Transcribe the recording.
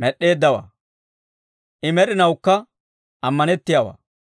med'd'eeddawaa; I med'inawukka ammanettiyaawaa.